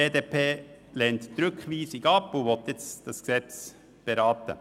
Die BDP lehnt die Rückweisung ab und will das Gesetz jetzt beraten.